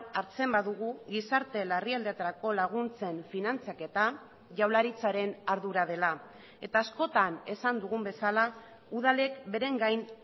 hartzen badugu gizarte larrialdietarako laguntzen finantzaketa jaurlaritzaren ardura dela eta askotan esan dugun bezala udalek beren gain